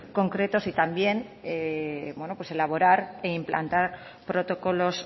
concretos y también bueno pues elaborar e implantar protocolos